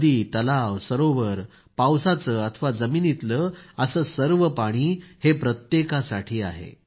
नदी तलाव सरोवर पावसाचं अथवा जमिनीतलं असं सर्व पाणी प्रत्येकासाठी आहे